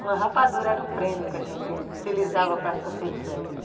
Uma rapadura era o prêmio que a gente utilizava para as competições.